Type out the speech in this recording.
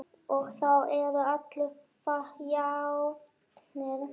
Og þá eru allir jafnir.